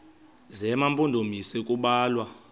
zema mpondomise kubalwa